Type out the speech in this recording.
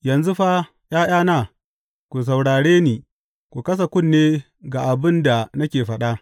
Yanzu fa, ’ya’yana, ku saurare ni; ku kasa kunne ga abin da nake faɗa.